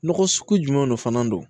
Nɔgɔ sugu jumɛn de fana don